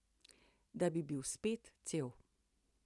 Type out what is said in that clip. Da bi bil spet cel.